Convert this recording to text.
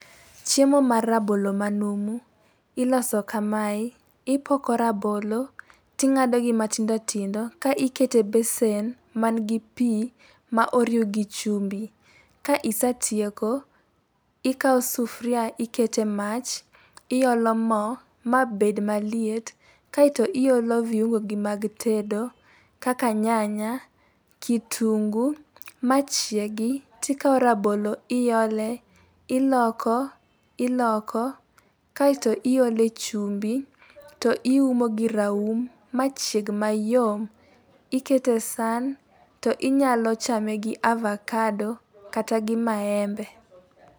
Chiemo mar rabolo manumu iloso kamae, ipoko rabolo, ting'adogi matindotindo ka iket e besen ma nigi pii ma oriw gi chumbi. Ka isetieko, ikawo sufria ikete mach, iolo moo mabed maliet. Kaito iolo viungo gi mag tedo, kaka nyanya, kitunguu , machiegi, tikawo rabolo iole, iloko iloko kaito iole chumbi, to iumo gi raum machieg mayom. Ikete saan to inyalo chame gi avakado kata gi maembe.